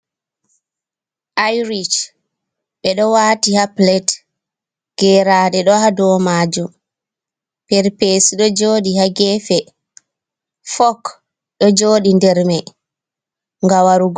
Iric ɓe ɗo waati haa pulet geraaɗe, ɗo haa dow maajum. Perpesu ɗo jooɗi haa geefe, fok ɗo jooɗi nder may nga warugo.